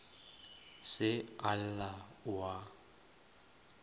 se a lla o a